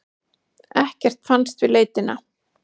Ekkert fannst við leitina.